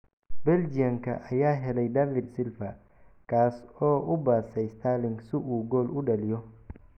Belgian-ka ayaa helay David Silva kaas oo u baasay Sterling si uu gool u dhaliyo.